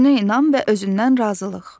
Özünə inam və özündən razılıq.